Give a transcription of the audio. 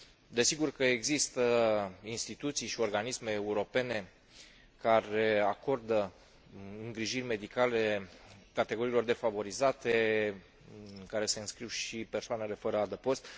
Desigur că există instituții și organisme europene care acordă îngrijiri medicale categoriilor defavorizate în care se înscriu și persoanele fără adăpost.